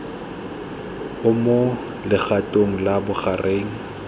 o mo legatong la bogareng